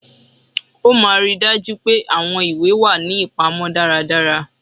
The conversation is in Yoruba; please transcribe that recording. Ó máà ri daju pe àwọn ìwé wá ní ipamó dàrá dàrá